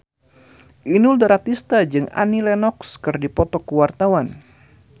Inul Daratista jeung Annie Lenox keur dipoto ku wartawan